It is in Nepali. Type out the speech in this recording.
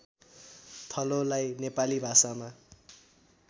थलोलाई नेपाली भाषामा